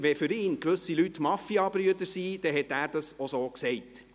Wenn für ihn gewisse Leute Mafiabrüder waren, dann hat er dies auch so gesagt.